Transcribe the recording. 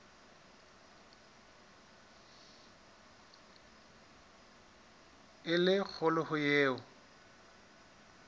e le kgolo ho eo